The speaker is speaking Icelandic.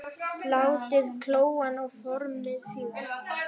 Látið kólna og formið síðan.